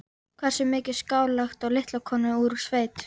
Hversu mikið skal lagt á litla konu úr sveit?